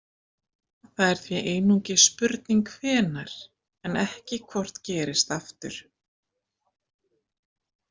Það er því einungis spurning hvenær en ekki hvort gerist aftur.